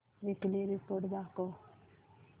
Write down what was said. weekly report दाखव